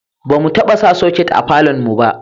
ba mu taba sa soket a falon mu ba